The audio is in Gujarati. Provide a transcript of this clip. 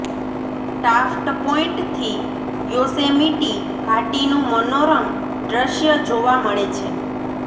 ટાફ્ટ પોઈન્ટથી યોસેમિટી ઘાટીનું મનોરમ દૃશ્ય જોવા મળે છે